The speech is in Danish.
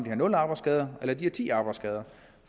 har nul arbejdsskader eller ti arbejdsskader